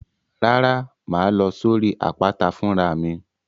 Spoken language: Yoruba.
Rárá, màá lọ sórí àpáta fún ra mi.